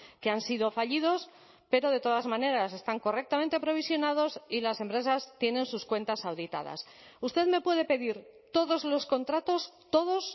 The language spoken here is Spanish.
que han sido fallidos pero de todas maneras están correctamente provisionados y las empresas tienen sus cuentas auditadas usted me puede pedir todos los contratos todos